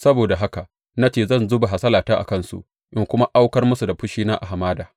Saboda haka na ce zan zuba hasalata a kansu in kuma aukar musu da fushina a hamada.